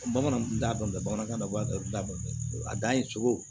Bamananw tun t'a dɔn bamanankan na b'a dɔn a dan ye cogo